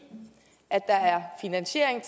at der er finansiering